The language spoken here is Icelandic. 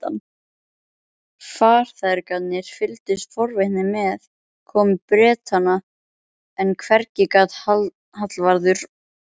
Farþegarnir fylgdust forvitnir með komu Bretanna, en hvergi gat Hallvarður